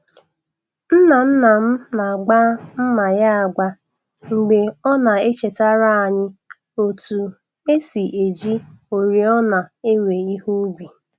Nna nna m na-agba mma ya agba mgbe ọ na-echetara anyị otú e si eji oriọna ewe ihe ubi.